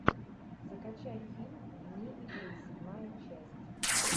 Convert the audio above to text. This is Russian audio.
закачай фильм вне игры седьмая часть